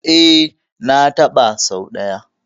E, na taɓa sau ɗaya.